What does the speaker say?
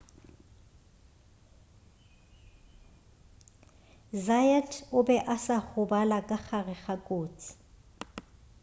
zayat o be a sa gobala ka gare ga kotsi